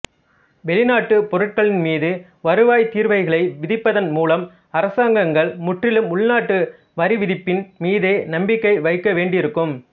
வெளிநாட்டுப் பொருட்களின் மீது வருவாய்த் தீர்வைகளை விதிப்பதன் மூலம் அரசாங்கங்கள் முற்றிலும் உள்நாட்டு வரிவிதிப்பின் மீதே நம்பிக்கை வைக்க வேண்டியிருக்கும்